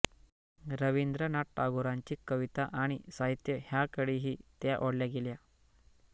रवींद्रनाथ टागोरांची कविता आणि साहित्य ह्यांकडेही त्या ओढल्या गेल्या